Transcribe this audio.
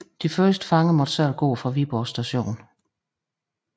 De første fanger måtte selv gå fra Viborg Station